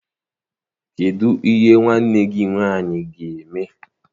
Kedụ ihe nwanne gị nwaanyị ga-eme?